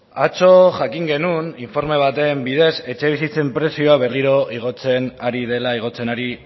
atzo jakin genuen informe baten bidez etxebizitzen prezioa berriro igotzen ari dela igotzen ari